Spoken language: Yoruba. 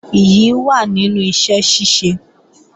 Ìyì wà nínú iṣẹ́ ṣíṣe